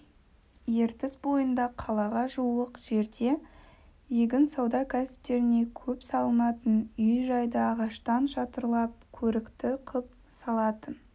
ертіс бойында қалаға жуық жерде егін сауда кәсіптеріне көп салынатын үй-жайды ағаштан шатырлап көрікті қып салатын